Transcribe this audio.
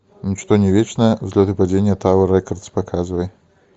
ничто не вечно взлет и падение тауэр рекордс показывай